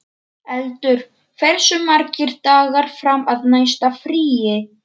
Eldur, hversu margir dagar fram að næsta fríi?